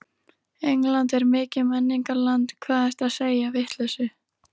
England er mikið menningarland, hvað ertu að segja, vitleysu.